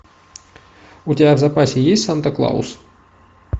у тебя в запасе есть санта клаус